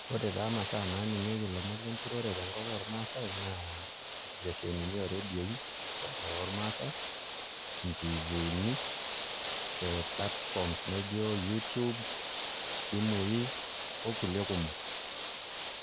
Ore taa imasaa naaning'ieki ilomon le enturore tenkop ormaasai naa inkiteshonini ooredioi ormaasi intifiini ee platforms naa ijio youtube isimuui okulie kumok.